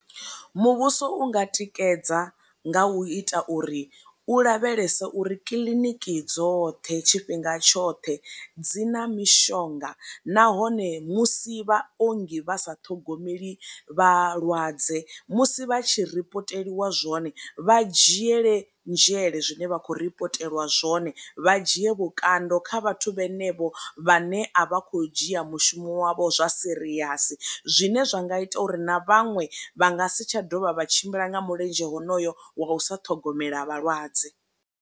Muvhuso u nga tikedza nga u ita uri u lavhelese uri kiḽiniki dzoṱhe tshifhinga tshoṱhe dzina mishonga nahone musi vha ongi vha sa ṱhogomeli vhalwadze musi vha tshi repoteliwa zwone vha dzhiele nzhele zwine vha khou ripotelwa zwone vha dzhie vhukando kha vhathu vhenevho vhane a vha kho dzhia mushumo wavho zwa serious, zwine zwa nga ita uri na vhaṅwe vha nga si tsha dovha vha tshimbila nga milenzhe honoyo wa usa ṱhogomela vhalwadze.